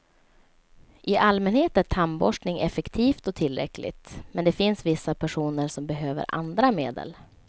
I allmänhet är tandborstning effektivt och tillräckligt, men det finns vissa personer som behöver andra medel.